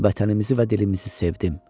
Vətənimizi və dilimizi sevdim.